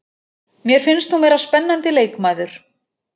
Mér finnst hún vera spennandi leikmaður.